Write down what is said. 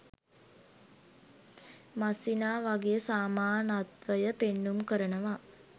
මස්සිනා වගේ සමානත්වය පෙන්නුම් කරනවා.